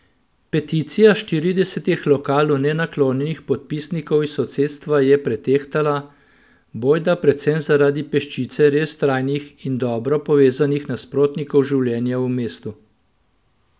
Peticija štiridesetih lokalu nenaklonjenih podpisnikov iz sosedstva je pretehtala, bojda predvsem zaradi peščice res vztrajnih in dobro povezanih nasprotnikov življenja v mestu.